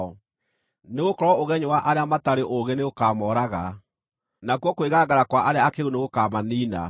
Nĩgũkorwo ũgenyũ wa arĩa matarĩ ũũgĩ nĩũkamooraga, nakuo kwĩgangara kwa arĩa akĩĩgu nĩgũkamaniina;